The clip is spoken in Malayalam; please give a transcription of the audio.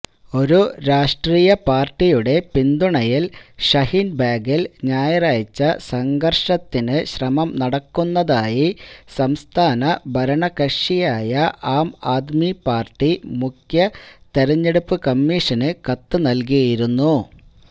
ഒരു രാഷ്ട്രീയപാര്ടിയുടെ പിന്തുണയില് ഷഹീന്ബാഗില് ഞായറാഴ്ച സംഘര്ഷത്തിനുശ്രമം നടക്കുന്നതായി സംസ്ഥാന ഭരണകക്ഷിയായ ആംആദ്മി പാര്ടി മുഖ്യ തെരഞ്ഞെടുപ്പ് കമ്മീഷന് കത്തുനല്കിയിരുന്നു